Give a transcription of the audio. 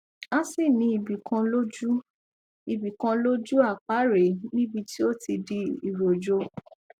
a sì ní ibi kan lójú ibi kan lójú àpá rẹ níbi tí ó ti di iròjò